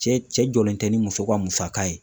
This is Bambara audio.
Cɛ cɛ jɔlen tɛ ni muso ka musaka ye